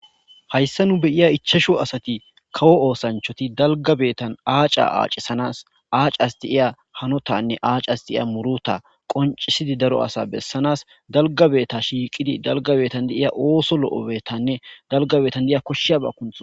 Hayissa nuu be'iya ichachu asati kawo osanchchatti dalgga betanni acaa acasanassi acas de'iya hanotanne acas de'iya muruta qonccssid daro asa besanas dalga beta shiqqiddi dalgga betanni de'iya oththo lo'o betanne dalgga betanni de'iya koshshiyabba kunththanas